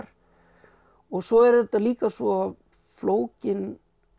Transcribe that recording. svo eru þetta líka svo flókin